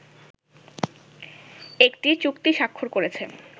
একটি চুক্তি স্বাক্ষর করেছে